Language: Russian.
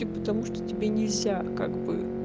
ты потому что тебе нельзя как бы